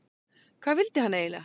Hvað vildi hann eiginlega?